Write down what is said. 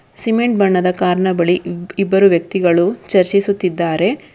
Cement ಬಣ್ಣದ ಕಾರಿನ ಬಳಿ ಇಬ್- ಇಬ್ಬರು ವ್ಯಕ್ತಿಗಳು ಚರ್ಚಿಸುತ್ತಿದ್ದಾರೆ.